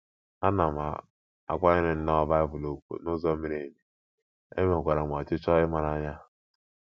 Ana m akwanyere nnọọ Bible ùgwù n’ụzọ miri emi, enwekwara m ọchịchọ ịmara ya.